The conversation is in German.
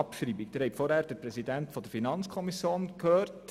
Im letzten Geschäft haben Sie den Präsidenten der FiKo gehört.